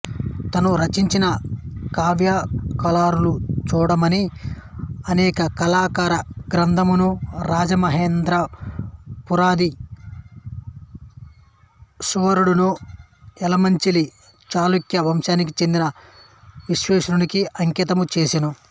తాను రచించిన కావ్యాలంకారచూడామణి అనే అలంకార గ్రంథమును రాజమహేంద్రపురాధీశ్వరుడను ఎలమంచిలి చాళుక్య వంశానికి చెందిన విశ్వేశ్వరునికి అంకితము చేసెను